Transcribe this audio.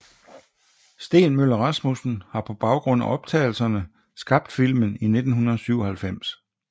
Steen Møller Rasmussen har på baggrund af optagelserne skabt filmen i 1997